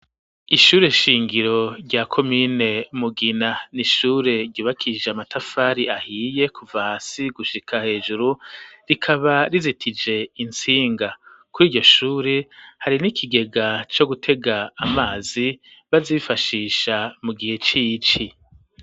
Ishure shingiro rya ko mine mugina nishure ryubakisije amatafari ahiye kuvasi gushika hejuru rikaba rizitije insinga kuri iryo shure hari n'ikigega co gutega amazi bazifashisha mu gihe c'ici.